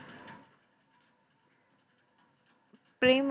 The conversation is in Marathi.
प्रेम.